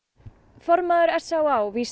formaður s á á vísar